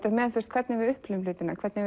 hvernig við upplifum hlutina hvernig